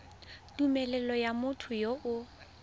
tumelelo ya motho yo o